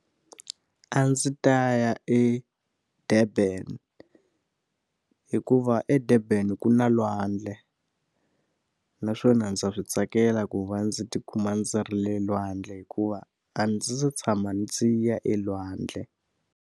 A ndzi ta ya eDurban hikuva eDurban ku na lwandle. Naswona ndza swi tsakela ku va ndzi tikuma ndzi ri le lwandle hikuva a ndzi se tshama ndzi ya elwandle.